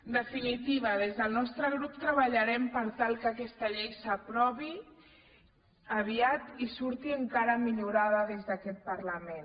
en definitiva des del nostre grup treballarem per tal que aquesta llei s’aprovi aviat i surti encara millorada des d’aquest parlament